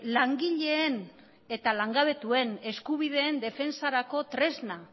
langileen eta langabetuen eskubideen defentsarako tresna